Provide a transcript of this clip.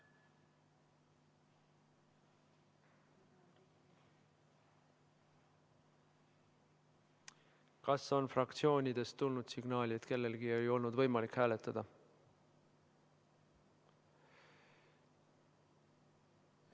Kas on fraktsioonidest tulnud signaal, et kellelgi ei olnud võimalik hääletada?